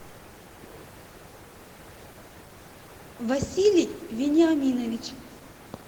василий вениаминович